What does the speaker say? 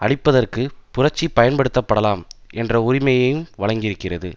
அழிப்பதற்குப் புரட்சி பயன்படுத்தப்படலாம் என்ற உரிமையையும் வழங்கியிருக்கிறது